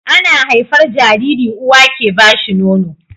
Ana haifar Jariri uwa ke bashi Nono